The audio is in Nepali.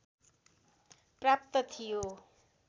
प्राप्त थियो